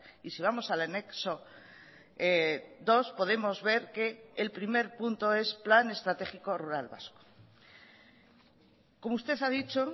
y si vamos al anexo dos podemos ver que el primer punto es plan estratégico rural vasco como usted ha dicho